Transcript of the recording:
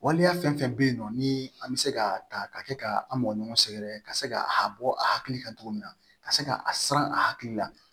Waleya fɛn fɛn bɛ yen nɔ ni an bɛ se ka ta ka kɛ ka an mɔgɔ ɲɔgɔn sɛgɛrɛ ka se ka bɔ a hakili kan cogo min na ka se ka a siran a hakili la